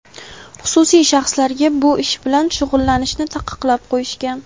xususiy shaxslarga bu ish bilan shug‘ullanishni taqiqlab qo‘yishgan.